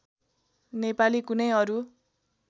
नेपाली कुनै अरू